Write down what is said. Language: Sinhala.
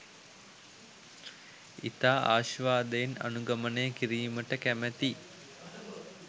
ඉතා අශ්වාදයෙන් අනුගමනය කිරීමට කැමැති